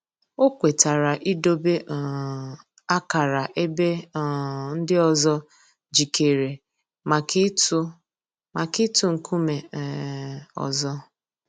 Ọ̀ kwètara ídòbè um àkárà èbè um ńdí òzò jìkèrè mǎká ị̀tụ̀ mǎká ị̀tụ̀ ńkùmé̀ um òzò.